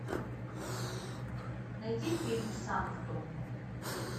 найди фильм санктум